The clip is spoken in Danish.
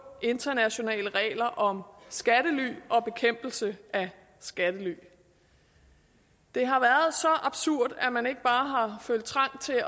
internationale regler om skattely og bekæmpelse af skattely det har været så absurd at man ikke bare har følt trang til at